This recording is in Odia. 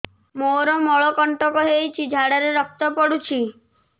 ମୋରୋ ମଳକଣ୍ଟକ ହେଇଚି ଝାଡ଼ାରେ ରକ୍ତ ପଡୁଛି